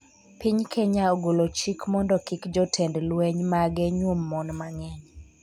Piny Kenya ogolo chik mondo kik jotend lweny mage nyuom mon mang'eny